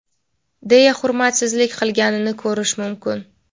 deya hurmatsizlik qilganini ko‘rish mumkin.